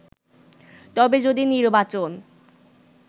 তবে যদি নির্বাচন